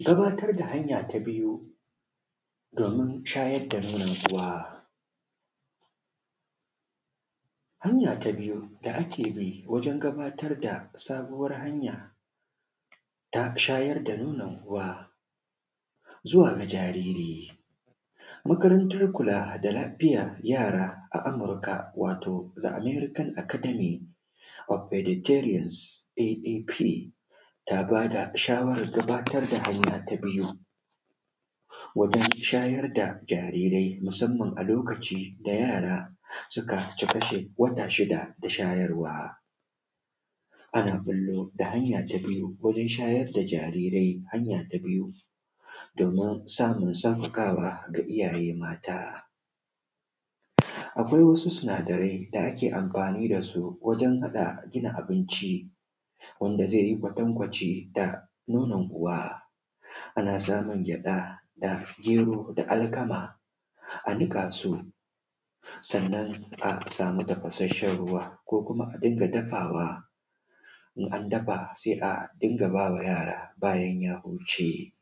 gabatar da hanya ta biyu domin shayar da nonon uwa hanya ta biyu da ake bi wajen gabatar da sabuwar hanya ta shayar da nonon uwa zuwa ga jariri makarantar kula da lafiyar yara a amurka wato american academic of eduterals aap ta ba da shawarar gabatar da hanya ta biyu wajen shayar da jarirai musamman a lokacin da yara suka cika wata shida da shayarwa ana ɓullo da hanya ta biyu domin shayar da jarirai hanya ta biyu domin samun sauƙaƙawa ga iyaye mata akwai wasu sinadarai da ake amfani da su wajen haɗa gina abinci wanda zai yi kwatankwaci da nonon uwa ana samun gyaɗa da gero da alkama a niƙa su sannan a samu tafashasshen ruwa ko kuma a dinga dafawa in an dafa sai a dinga ba ma yara bayan ya huce